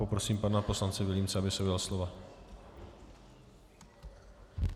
Poprosím pana poslance Vilímce, aby se ujal slova.